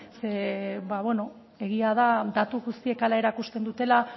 ba bueno egia da datu guztiek hala erakusten dutela